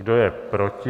Kdo je proti?